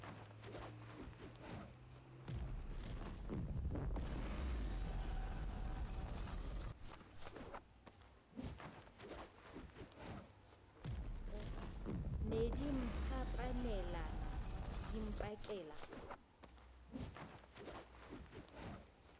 ne di mphapanelana di mpakela